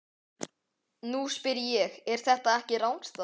Nú spyr ég- er þetta ekki rangstaða?